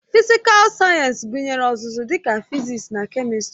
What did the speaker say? Fịsịkal Sayensị gụnyere ọzụzụ dịka fịzịksi na kemistri